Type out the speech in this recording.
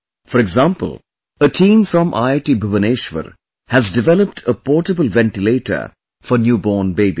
For example, a team from IIT Bhubaneswar has developed a portable ventilator for new born babies